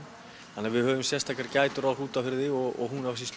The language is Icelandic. þannig að við höfum sérstakar gætur á Hrútafirði og